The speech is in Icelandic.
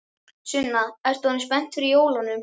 Sunna: Ert þú orðin spennt fyrir jólunum?